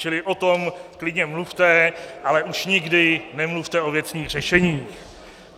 Čili o tom klidně mluvte, ale už nikdy nemluvte o věcných řešeních.